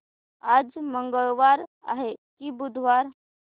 आज मंगळवार आहे की बुधवार